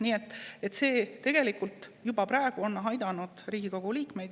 Nii et see on tegelikult juba praegu aidanud Riigikogu liikmeid.